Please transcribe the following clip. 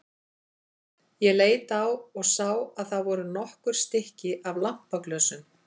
Ég leit á og sá að það voru nokkur stykki af lampaglösum.